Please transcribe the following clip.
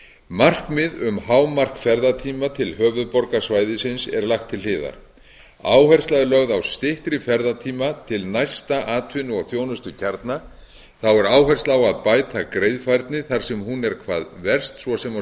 markmið um hámark ferðatíma til höfuðborgarsvæðisins er lagt til hliðar áhersla er lögð á styttri ferðatíma til næsta atvinnu og þjónustukjarna þá er áhersla á að bæta greiðfærni þar sem hún er hvað verst svo sem á